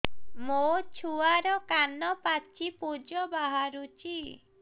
ମୋ ଛୁଆର କାନ ପାଚି ପୁଜ ବାହାରୁଛି